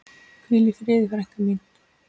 Hvíl í friði frænka mín.